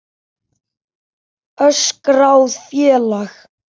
Óskráð félag.